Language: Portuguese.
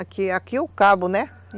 Aqui aqui é o cabo, né?